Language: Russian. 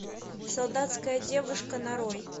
солдатская девушка нарой